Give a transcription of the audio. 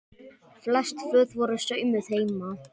Flest föt voru saumuð heima.